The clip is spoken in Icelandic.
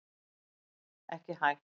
Ekki hætt